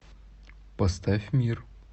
поставь мир